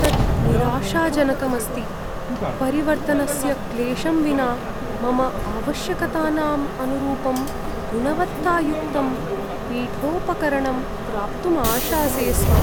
तत् निराशाजनकम् अस्ति, परिवर्तनस्य क्लेशं विना मम आवश्यकतानां अनुरूपं गुणवत्तायुक्तं पीठोपकरणम् प्राप्तुम् आशासे स्म।